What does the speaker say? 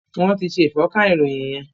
Wọ́n ti ṣe ìfọ́nka ìròyìn yẹn.